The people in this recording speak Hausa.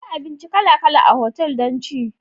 Akwai abinci kala kala a otal don ci.